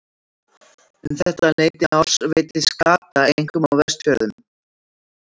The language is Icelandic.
Um þetta leyti árs veiddist skata einkum á Vestfjarðamiðum.